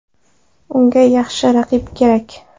Unga yaxshi raqib kerak.